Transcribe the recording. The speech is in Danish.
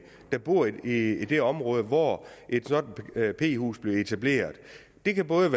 der bor i det område hvor et sådant p hus bliver etableret det kan både